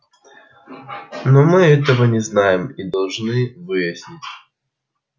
но мы этого не знаем и должны выяснить